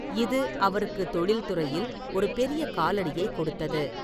இது அவருக்கு தொழில்துறையில் ஒரு பெரிய காலடியை கொடுத்தது.